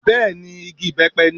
Bẹ́ẹ̀ni Igi ìbẹ́pẹ ni